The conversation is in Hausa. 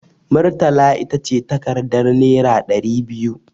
Murtala ita ce takardar naira ɗari biyu.